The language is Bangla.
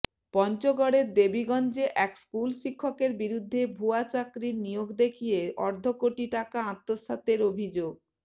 পঞ্চগড়ের দেবীগঞ্জে এক স্কুল শিক্ষকের বিরুদ্ধে ভুয়া চাকরির নিয়োগ দেখিয়ে অর্ধকোটি টাকা আত্মসাতের অভিযোগ